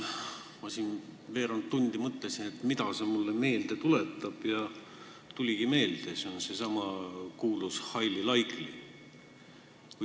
Ma siin veerand tundi mõtlesin, mida see mulle meelde tuletab, ja tuligi meelde: see on seesama kuulus highly likely.